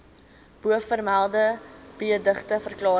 bovermelde beëdigde verklarings